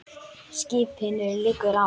Skipinu liggur á.